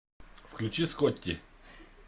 включи скотти